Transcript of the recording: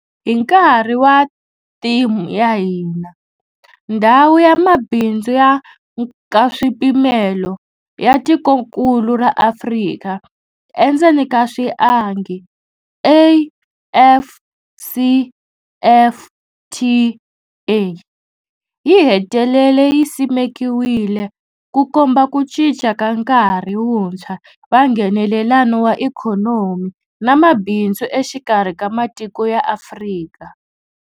Hi nkarhi wa theme ya hina, Ndhawu ya Mabindzu ya Nkaswipimelo ya Tikokulu ra Afrika endzeni ka swiangi, AfCFTA, yi hetelele yi simekiwile, ku komba ku cinca ka nkarhi wuntshwa wa Nghenelelano wa ikhonomi na mabindzu exikarhi ka matiko ya Afrika.